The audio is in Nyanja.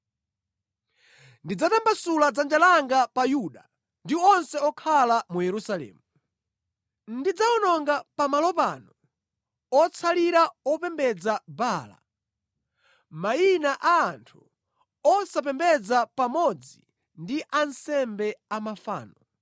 Ndidzatambasula dzanja langa pa Yuda ndi onse okhala mu Yerusalemu. Ndidzawononga pamalo pano otsalira opembedza Baala, mayina a anthu osapembedza pamodzi ndi ansembe a mafano: